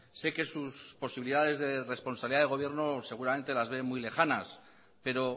sé que sus posibilidades de responsabilidad de gobierno seguramente las ve muy lejanas pero